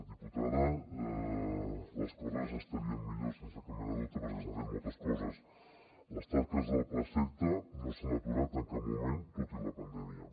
diputada les coses estarien millor sense cap mena de dubte perquè s’han fet moltes coses les tasques del plaseqta no s’han aturat en cap moment tot i la pandèmia